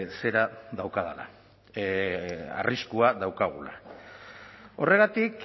zera daukadala arriskua daukagula horregatik